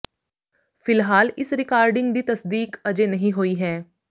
ਫਿਲਹਾਲ ਇਸ ਰਿਕਾਰਡਿੰਗ ਦੀ ਤਸਦੀਕ ਅਜੇ ਨਹੀਂ ਹੋਈ ਹੈ